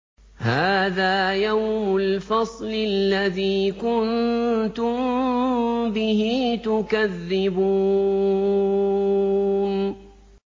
هَٰذَا يَوْمُ الْفَصْلِ الَّذِي كُنتُم بِهِ تُكَذِّبُونَ